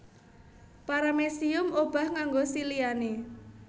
Paramecium obah nganggo siliane